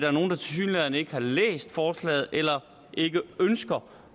er nogle der tilsyneladende ikke har læst forslaget eller ikke ønsker